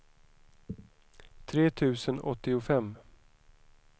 tre tusen åttiofem